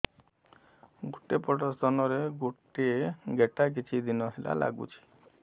ଗୋଟେ ପଟ ସ୍ତନ ରେ ଗୋଟେ ଗେଟା କିଛି ଦିନ ହେଲା ଲାଗୁଛି